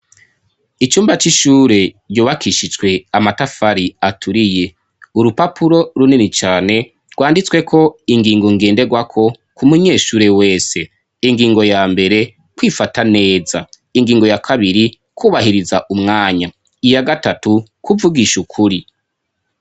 Icumba c'ishure ryubakishijwe amatafari aturiye urupapuro runini cane rwanditswe ko ingingo ngenderwako ku munyeshure wese ingingo ya mbere kwifata neza ingingo ya kabiri kwubahiriza umwanya iya gatatu kuvugisha ukuri.